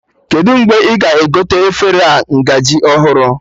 Kedụ mgbe ị ga-egote efere a ngaji ọhụrụ